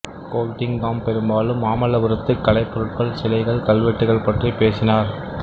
Goldingham பெரும்பாலும் மாமல்லபுரத்துக் கலைப்பொருள்கள் சிலைகள் கல்வெட்டுகள் பற்றிப் பேசினார்